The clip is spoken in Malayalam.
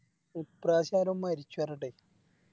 ഇപ്രാവശ്യരോ മരിച്ചു പറഞ്ഞിട്ടേ